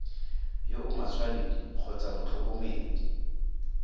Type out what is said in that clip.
yo o matshwanedi kgotsa motlhokomedi